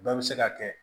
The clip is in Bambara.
Bɛɛ bɛ se ka kɛ